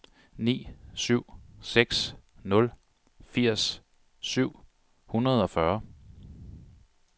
ni syv seks nul firs syv hundrede og fyrre